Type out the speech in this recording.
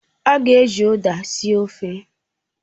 A ga-eji Uda sie ofe